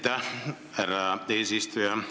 Aitäh, härra eesistuja!